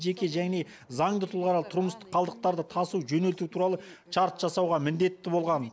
жеке және заңды тұлғалар тұрмыстық қалдықтарды тасу жөнелту туралы шарт жасауға міндетті болған